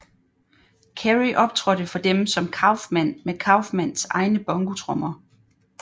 Carrey optrådte for dem som Kaufman med Kaufmans egne bongotrommer